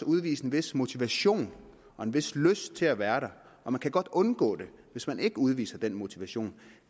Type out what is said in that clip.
udvise en vis motivation og en vis lyst til at være der og man kan godt undgå det hvis man ikke udviser den motivation